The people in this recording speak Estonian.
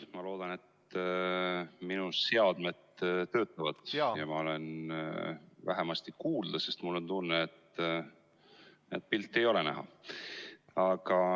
Ma loodan, et minu seadmed töötavad ja ma olen vähemasti kuulda, sest mul on tunne, et pilti ei ole näha.